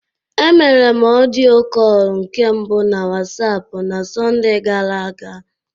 Emere m ọdịo kọl nke mbụ m na Wasapụ na Sọnde gara aga.